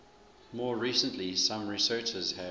more recently some researchers have